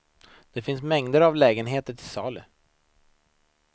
Det finns mängder av lägenheter till salu.